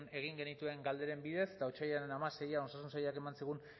egin genituen galderen bidez eta otsailaren hamaseian osasun sailak eman zigun